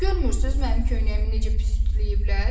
Görmürsüz mənim köynəyimi necə pis ütüləyiblər?